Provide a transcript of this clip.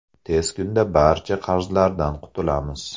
Tez kunda barcha qarzlardan qutulamiz.